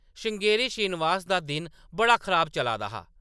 श्रृंगेरी श्रीनिवास दा दिन बड़ा खराब चला दा हा।